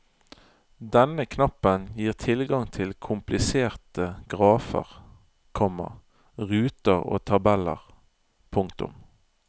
Denne knappen gir tilgang til kompliserte grafer, komma ruter og tabeller. punktum